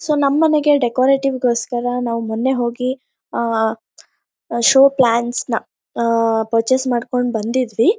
so ನಮ್ ಮನೆಗೆ decorative ಗೋಸ್ಕರ ನಾವ್ ಮೊನ್ನೆ ಹೋಗಿ ಆಅಹ್ ಅಹ್ ಶೋ ಪ್ಲಾಂಟ್ಸ್ ನ ಆಅಹ್ ಪರ್ಚಸ್ ಮಾಡ್ಕೊಂಡ್ ಬಂದಿದ್ವಿ